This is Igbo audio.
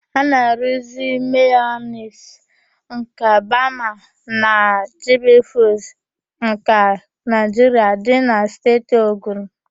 A na-aruuzi mayonis nke bama na jibifuuds nke Naịjiria dị na Steeti Ogun.